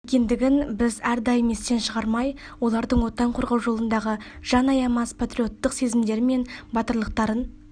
екендігін біз әрдайым естен шығармай олардың отан қорғау жолындағы жан аямас патриоттық сезімдері мен батырлықтарын